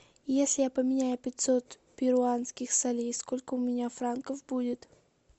если я поменяю пятьсот перуанских солей сколько у меня франков будет